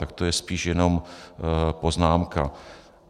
Tak to je spíš jenom poznámka.